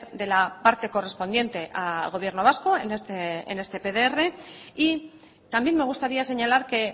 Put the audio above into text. de la parte correspondiente al gobierno vasco en este pdr y también me gustaría señalar que